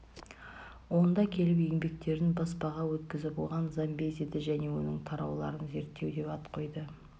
онда келіп еңбектерін баспаға өткізіп оған замбезиді және оның тарауларын зерттеу деп ат қойды